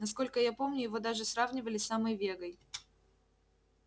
насколько я помню его даже сравнивали с самой вегой